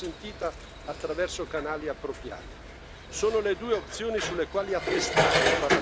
È essenziale poi l'assistenza umanitaria, che deve essere consentita attraverso canali appropriati.